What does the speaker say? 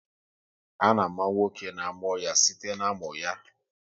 A na-àmà nwa oké na amụọ ya site na-amụ ya